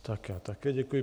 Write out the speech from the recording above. Tak já také děkuji.